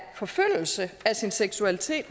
forfølgelse af sin seksualitet